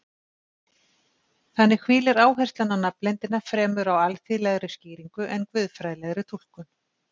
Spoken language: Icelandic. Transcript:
Þannig hvílir áherslan á nafnleyndina fremur á alþýðlegri skýringu en guðfræðilegri túlkun.